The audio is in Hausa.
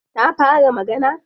Ta fara magana?